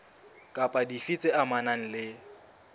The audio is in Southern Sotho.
kapa dife tse amanang le